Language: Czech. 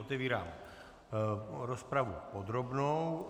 Otevírám rozpravu podrobnou.